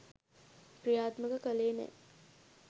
ක්‍රියාත්මක කළේ නෑ